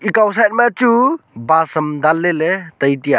ekao side ma chu bus am danle ley tai tiya.